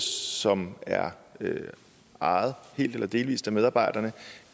som er ejet helt eller delvis af medarbejderne